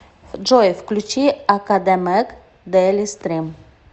джой включи академег дэйлистрим